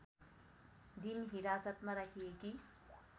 दिन हिरासतमा राखिएकी